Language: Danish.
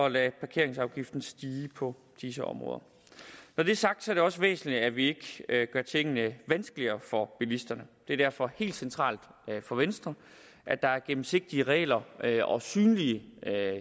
lade parkeringsafgiften stige på disse områder når det er sagt er det også væsentligt at vi ikke gør tingene vanskeligere for bilisterne det er derfor helt centralt for venstre at der er gennemsigtige regler regler og synlig